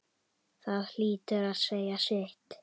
Það hlýtur að segja sitt.